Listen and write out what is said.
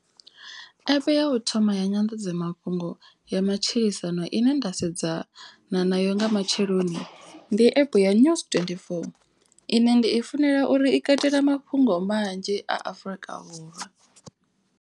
App ya u thoma ya nyanḓadzamafhungo ya matshilisano ine nda sedzana nayo nga matsheloni. Ndi app ya news twendi four ine ndi i funela uri i katela mafhungo manzhi a Afrika vhurwa.